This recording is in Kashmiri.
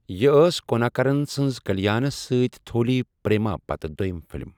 یہِ ٲس كوٗناكرن سٕنز كلیانس سۭتۍ تھولی پریما پتہٕ دویِم فِلم ۔